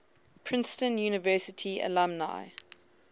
princeton university alumni